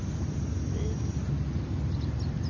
vid